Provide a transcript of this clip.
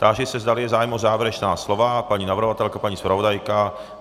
Táži se, zdali je zájem o závěrečná slova - paní navrhovatelka, paní zpravodajka?